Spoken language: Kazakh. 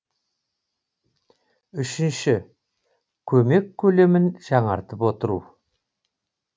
үшінші көмек көлемін жаңартып отыру